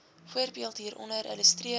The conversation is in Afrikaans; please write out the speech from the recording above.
voorbeeld hieronder illustreer